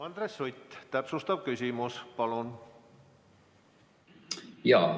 Andres Sutt, täpsustav küsimus, palun!